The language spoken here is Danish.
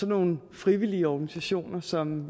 nogle frivillige organisationer som